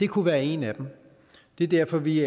kunne være en af dem det er derfor at vi